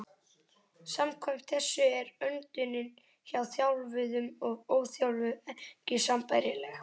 Samkvæmt þessu er öndunin hjá þjálfuðum og óþjálfuðum ekki sambærileg.